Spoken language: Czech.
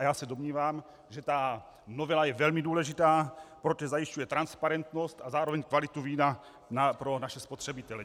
A já se domnívám, že ta novela je velmi důležitá, protože zajišťuje transparentnost a zároveň kvalitu vína pro naše spotřebitele.